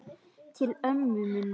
Til ömmu minnar.